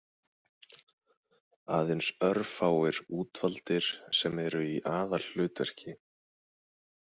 Aðeins örfáir útvaldir sem eru í aðalhlutverki.